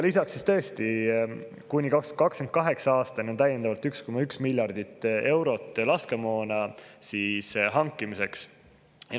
Lisaks on tõesti kuni 2028. aastani täiendavalt 1,1 miljardit eurot laskemoona hankimiseks.